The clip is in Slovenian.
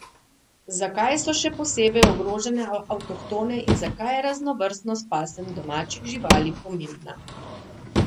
Zakaj so še posebej ogrožene avtohtone in zakaj je raznovrstnost pasem domačih živali pomembna?